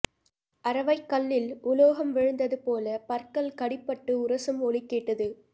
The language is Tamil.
அரவைக்கல்லில் உலோகம் விழுந்ததுபோல பற்கள் கடிபட்டு உரசும் ஒலி கேட்டது